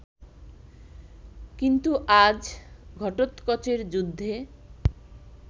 কিন্তু আজ ঘটোৎকচের যুদ্ধে